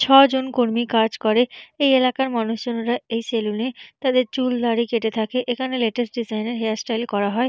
ছজন কর্মী কাজ করে এই এলাকার মানুষজনেরা এই সেলুনে তাদের চুল দাড়ি কেটে থাকে এখানে লেটেস্ট ডিসাইন -এর হেয়ার স্টাইল করা হয়।